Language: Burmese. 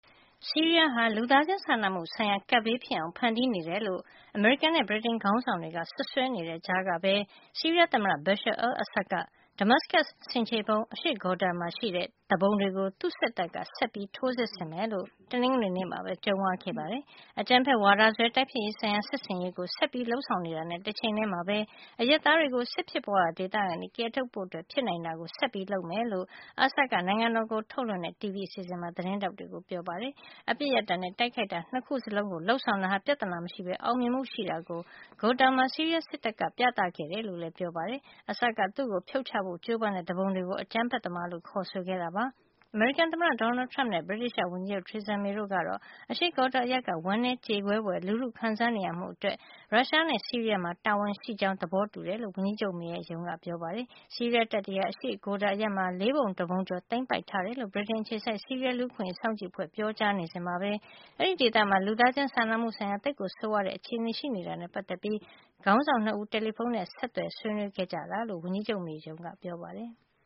ဆီးရီးယားဟာ လူသားချင်းစာနာမှုဆိုင်ရာ ကပ်ဘေးဖြစ်အောင် ဖန်တီးနေတယ်လို့ အမေရိကန်နဲ့ ဗြိတိန်ခေါင်းဆောင်တွေက စွပ်စွဲနေတဲ့ ကြားကပဲ ဆီးရီးယား သမ္မတ Bashar al-Assad က Damascus ဆင်ခြေဖုံး အရှေ့ Ghouta မှာ ရှိတဲ့ သူပုန်တွေကို သူ့စစ်တပ်က ဆက်ပြီး ထိုးစစ်ဆင်မယ်လို့ တနင်္ဂနွေနေ့မှာပဲ ကြုံးဝါးခဲ့ပါတယ်။ အကြမ်းဖက်ဝါဒစွဲ တိုက်ဖျက်ရေးဆိုင်ရာ စစ်ဆင်ရေးကို ဆက်လက်လုပ်ဆောင်တာနဲ့ တချိန်ထဲမှာပဲ အရပ်သားတွေကို စစ်ဖြစ်ပွါးရာ ဒေသကနေ ကယ်ထုတ်ဖို့ ဖြစ်နိုင်တာကို ဆက်လုပ်မယ်လို့ Assad က နိုင်ငံတော်ကိုထုတ်လွှင့်တဲ့ TV အစီစဉ်မှာ သတင်းထောက်တွေကို ပြောပါတယ်။ အပစ်ရပ်တာနဲ့ တိုက်ခိုက်တာ နှစ်ခုလုံးကို လုပ်ဆောင်တာဟာ ပြဿနာမရှိပဲ အောင်မြင်မှု ရှိတာကို Ghouta မှာ ဆီးရီးယားစစ်တပ်က ပြသခဲ့ကြောင်းလည်း ပြောပါတယ်။ Assad က သူ့ကို ဖြုတ်ချဖို့ ကြိုးပမ်းတဲ့ သူပုန်တွေကို အကြမ်းဖက်သမားလို့ ခေါ်ဆိုခဲ့တာပါ။ အမေရိကန်သမ္မတ Donald Trump နဲ့ ဗြိတိသျှ ဝန်ကြီးချုပ် Theresa May တို့ကတော့ အရှေ့ Ghouta အရပ်က ဝမ်းနည်းကြေကွဲဖွယ် လူထုခံစားနေရမှုအတွက် ရုရှားနဲ့ ဆီးရီးယားမှာ တာဝန်ရှိတယ်ဆိုတာ သဘောထားတူတယ်လို့ ဝန်ကြီးချုပ် May ရဲ့ ရုံးက ပြောပါတယ်။ ဆီးရီးယားတပ်တွေဟာ အရှေ့ Ghouta နယ်မြေ လေးပုံတပုံကျော်ကို သိမ်းပိုက်ထားတယ်လို့ ဗြိတိန်အခြေစိုက် ဆီးရီးယား လူ့အခွင့်အရေးအခြေအနေ စောင့်ကြည့်လေ့လာရေးအဖွဲ့က ပြောကြားနေစဉ်မှာပဲ အဲဒီဒေသမှာ လူသားချင်းစာနာမှု ဆိုင်ရာ သိပ်ကို ဆိုးဝါးတဲ့ အခြေနေရှိနေတာနဲ့ ပတ်သက်ပြီး ခေါင်းဆောင် နှစ်ဦး တယ်လီဖုန်းနဲ့ ဆက်သွယ် ဆွေးနွေးခဲ့ကြတယ်လို့ ဝန်ကြီးချုပ် May ရဲ့ ရုံးက ပြောပါတယ်။